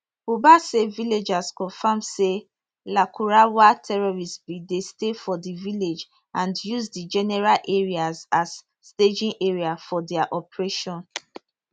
buba say villagers confam say lakurawa terrorists bin dey stay for di village and use di general areas as staging area for dia operation